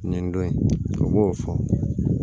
Nin don in a b'o fɔ